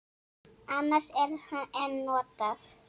Annars er en notað.